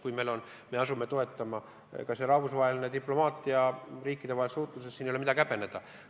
Kui me asume kedagi toetama kas või rahvusvahelises diplomaatias, riikidevahelises suhtluses, siis ei ole midagi häbeneda.